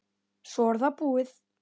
Svo er það búið.